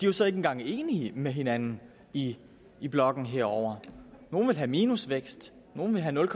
jo så ikke engang enige med hinanden i i blokken herovre nogle vil have minusvækst nogle vil have nul